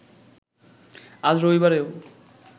আজ রবিবারেও